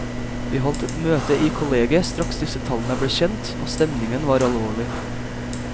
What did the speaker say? Vi holdt et møte i kollegiet straks disse tallene ble kjent, og stemningen var alvorlig.